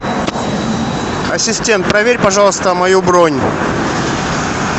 ассистент проверь пожалуйста мою бронь